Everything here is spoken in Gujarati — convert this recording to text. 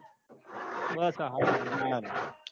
બસ આ હાલ યો